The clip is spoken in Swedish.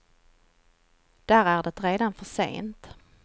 Där är det redan för sent.